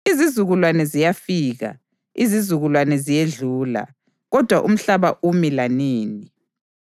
Izizukulwane ziyafika, izizukulwane ziyedlula, kodwa umhlaba umi lanini.